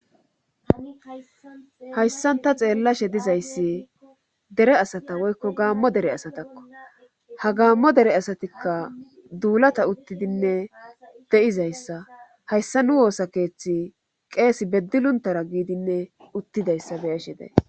hayssanta xeellashe dizayssi dere asata woykko gaammo dere asatakko ha gaammo dere asatikka duulata uttidinne de7izayssa hayssa nu woosa keeththi qeesi beddiluntara giidinne uttidayssa beeshi dee